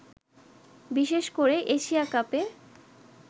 বিশেষ করে এশিয়া কাপে